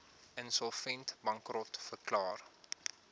insolvent bankrot verklaar